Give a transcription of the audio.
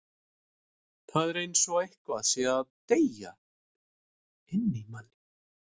Það er eins og eitthvað sé að deyja inni í manni.